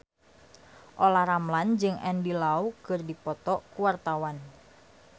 Olla Ramlan jeung Andy Lau keur dipoto ku wartawan